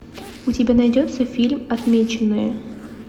у тебя найдется фильм отмеченные